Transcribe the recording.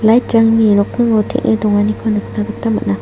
lait rangni nokkingo teng·e donganiko nikna gita man·a.